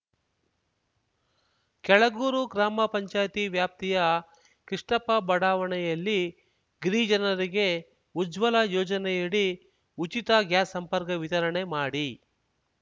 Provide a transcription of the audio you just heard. ಕೆಳಗೂರು ಗ್ರಾಮ ಪಂಚಾಯತಿ ವ್ಯಾಪ್ತಿಯ ಕೃಷ್ಣಪ್ಪ ಬಡಾವಣೆಯಲ್ಲಿ ಗಿರಿಜನರಿಗೆ ಉಜ್ವಲ ಯೋಜನೆಯಡಿ ಉಚಿತ ಗ್ಯಾಸ್‌ ಸಂಪರ್ಕ ವಿತರಣೆ ಮಾಡಿ